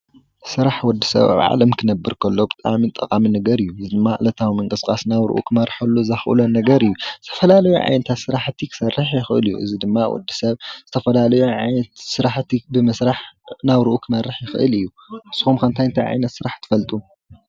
ስራሕ ወዲ ሰብ ኣብ ዓለም ክነብር ከሎ ብጣዕሚ ጠቓሚ ነገር እዩ፡፡ እዚ ድማ ዕለታዊ ምንቅስቓስ ናብርኡ ክመርሐሉ ነገር እዩ፡፡ ዝተፈላለዩ ዓይነታት ስራሕቲ ክሰርሕ ይኽእል እዩ፡፡ እዚ ድማ ወዲሰብ ዝተፈላለዩ ዓይነት ስራሕቲ ብምስራሕ ናብርኡ ክመርሕ ይኽእል እዩ፡፡ ንስኹም ከ ስራሕ እንታይ እንታይ ዓይነት ትፈልጡ?